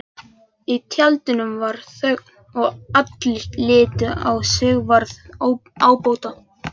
Í tjaldinu varð þögn og allir litu á Sigvarð ábóta.